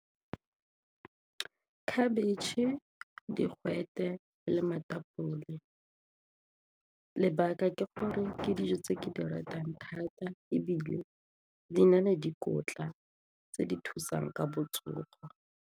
Khabetšhe, digwete le lebaka ke gore ke dijo tse ke di ratang thata ebile di na le dikotla tse di thusang ka botsogo.